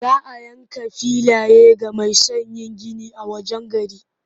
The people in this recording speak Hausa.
Za a yanka filaye ga mai son yin gini a wajen gari.